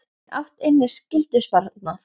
En átt inni skyldusparnað?